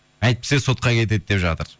әйтпесе сотқа кетеді деп жатыр